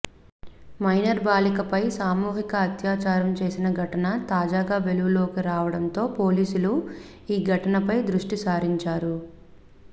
minor బాలికపై సామూహిక అత్యాచారం చేసిన ఘటన తాజాగా వెలుగులోకి రావడంతో పోలీసులు ఈ ఘటనపై దృష్టి సారించారు